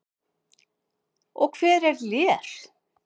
Og hver er Lér?